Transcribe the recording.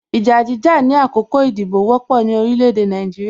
Ìjà jíjà ni àkókò ìdìbò wọ́pọ̀ ni orílẹ̀ èdè Nàìjíríà